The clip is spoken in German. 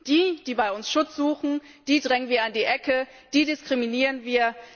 Die, die bei uns Schutz suchen, drängen wir in die Ecke und diskriminieren wir.